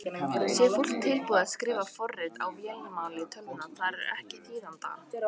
Sé fólk tilbúið til að skrifa forrit á vélarmáli tölvunnar þarf það ekki þýðanda.